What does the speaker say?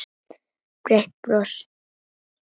Breitt bros.